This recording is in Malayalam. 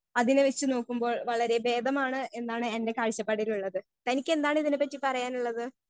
സ്പീക്കർ 1 അതിനെ വെച്ച് നോക്കുമ്പോൾ വളരെ ബേധമാണ് എന്നാണ് എന്റെ കാഴ്ചപ്പാടിലുള്ളത് തനിക്കെന്താണിതിനെ പറ്റി പറയാനുള്ളത്.